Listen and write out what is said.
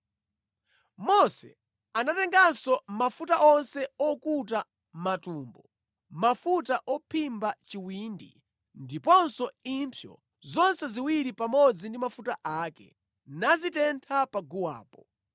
Mose anatenganso mafuta onse okuta matumbo, mafuta ophimba chiwindi, ndiponso impsyo zonse ziwiri pamodzi ndi mafuta ake, nazitentha pa guwapo.